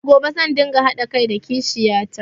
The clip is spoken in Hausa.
Daga gobe zan ɗinga haɗa kai da kishiyata